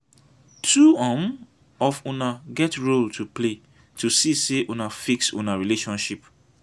two um of una get role to play to see sey una fix una rlationship.